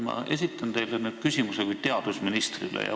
Ma esitan nüüd küsimuse teile kui teadusministrile.